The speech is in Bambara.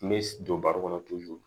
N bɛ don baro kɔnɔ